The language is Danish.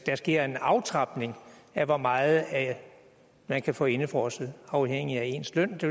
sker en aftrapning af hvor meget man kan få indefrosset afhængigt af ens løn det